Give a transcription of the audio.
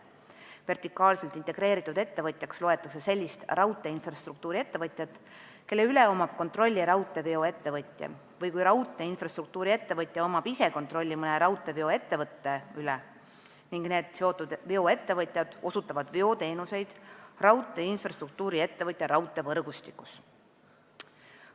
Vertikaalselt integreeritud ettevõtjaks loetakse sellist raudteeinfrastruktuuri-ettevõtjat, kelle üle omab kontrolli raudteeveo-ettevõtja, või sellist raudteeinfrastruktuuri-ettevõtjat, kes ise omab kontrolli mõne raudteeveo-ettevõtja üle, ning need seotud veoettevõtjad osutavad veoteenuseid raudteeinfrastruktuuri-ettevõtja raudteevõrgustikus.